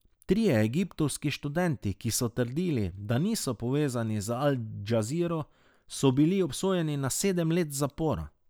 Trije egiptovski študenti, ki so trdili, da niso povezani z Al Džaziro, so bili obsojeni na sedem let zapora.